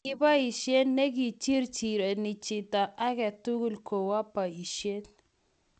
ki besye ne kichirchirwni chito age tugul kowo boisiet